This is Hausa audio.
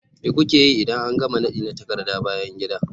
Me kuke yi idan an gama nadi na takarda bayan gida?